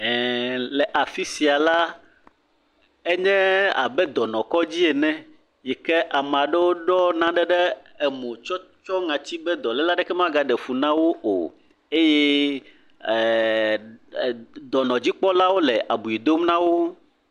EeeƐ Le afi sia la, edze abe dɔnɔkɔdzi ene yi ke ame aɖewo ɖɔ nane ɖe emo be naneke magaɖe efu na wo o. eye eeeeee, d.., dɔnɔdzikpɔalawo le abi dom na wo.